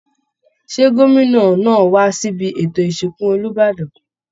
Ṣé gómìnà ńáà wá síbi ètò ìsìnkú Olúbàdàn?